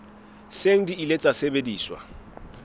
seng di ile tsa sebetsa